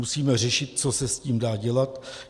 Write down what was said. Musíme řešit, co se s tím dá dělat.